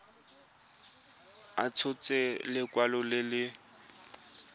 a tshotse lekwalo le le